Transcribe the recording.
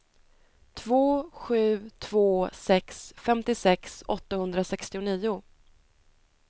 två sju två sex femtiosex åttahundrasextionio